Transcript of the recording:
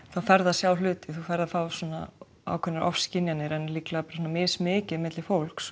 þá ferðu að sjá hluti ferð að fá ákveðnar ofskynjanir en líklega mismikið milli fólks